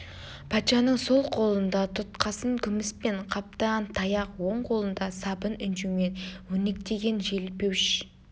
патшаның сол қолында тұтқасын күміспен қаптаған таяқ оң қолында сабын інжумен өрнектеген желпуіш